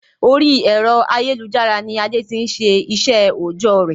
Orí ẹ̀rọ ayélujára ni Adé tí n se iṣẹ òojọ́ rẹ̀